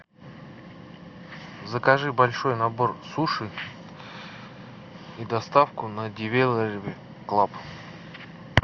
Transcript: закажи большой набор суши и доставку на деливери клаб